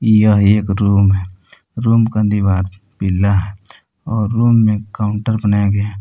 यह एक रूम है रूम का दीवार पिला है और रूम में काउंटर बनाया गया है।